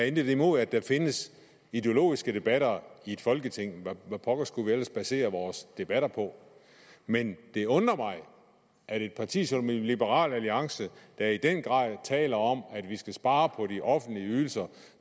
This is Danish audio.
intet imod at der findes ideologiske debatter i folketinget hvad pokker skulle vi ellers basere vores debatter på men det undrer mig at et parti som liberal alliance der i den grad taler om at vi skal spare på de offentlige ydelser